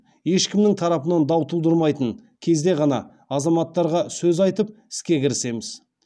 ешкімнің тарапынан дау тудырмайтын кезде ғана азаматтарға сөз айтып іске кірісеміз